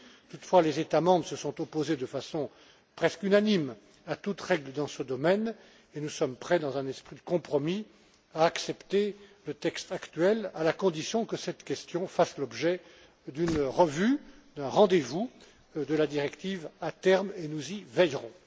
Toutefois, les États membres se sont opposés de façon presque unanime à toute règle dans ce domaine et nous sommes prêts, dans un esprit de compromis, à accepter le texte actuel, à la condition que cette question fasse l'objet d'une revue, d'un rendez vous de la directive à terme, et nous y veillerons.